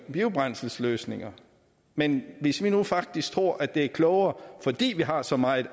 biobrændselsløsninger men hvis vi nu faktisk tror at det er klogere fordi vi har så meget